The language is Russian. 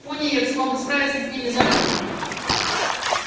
пониетс мог бы справиться с ними запросто